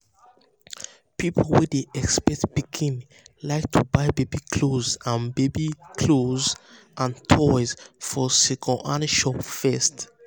people wey dey expect pikin like to buy baby cloth and baby cloth and um toys for second-hand shop first.